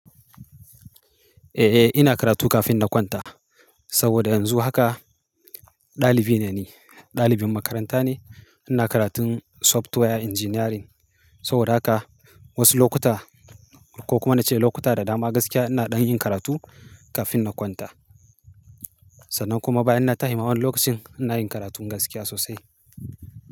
Eh, ina karatu kafin na kwanta. Saboda yanzu haka dalibi ne ni, dalibin makaranta ne. Ina karatun software engineering. Saboda haka wasu lokuta ko kuma na ce lokuta da dama gaskiya ina dan yin karatu kafin na kwanta. Sannan kuma bayan na tashi ma wani lokacin ina yin karatun gaskiya sosai.